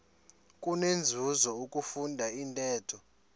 kunenzuzo ukufunda intetho